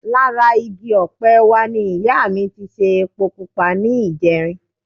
Lára igi ọ̀pẹ wa ni ìyá mi ti ṣe epo pupa ní ìjẹrin